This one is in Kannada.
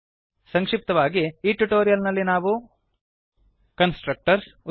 ಸಂಕ್ಷಿಪ್ತವಾಗಿ ಈ ಟ್ಯುಟೋರಿಯಲ್ ನಲ್ಲಿ ನಾವು ಕನ್ಸ್ಟ್ರಕ್ಟರ್ಸ್ ಉದಾ